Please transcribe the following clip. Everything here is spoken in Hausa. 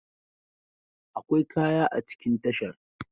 Akwai kaya a cikin tashar.